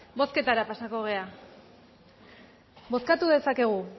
bozketara pasatuko gara bozkatu dezakegu